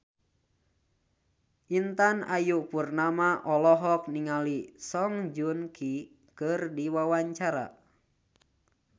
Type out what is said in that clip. Intan Ayu Purnama olohok ningali Song Joong Ki keur diwawancara